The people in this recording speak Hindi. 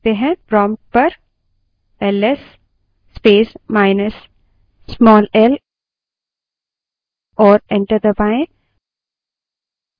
प्रोम्प्ट पर ls space minus small l command type करें और enter दबायें